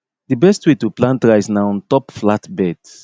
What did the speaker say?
di best way to plant rice na on top flat beds